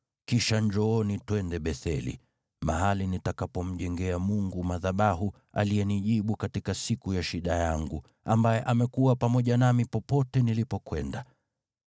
Kisha njooni, twende Betheli, mahali nitakapomjengea Mungu madhabahu, aliyenijibu katika siku ya shida yangu, ambaye amekuwa pamoja nami popote nilipokwenda.”